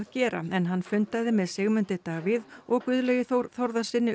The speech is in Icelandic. gera en hann fundaði með Sigmundi Davíð og Guðlaugi Þór Þórðarsyni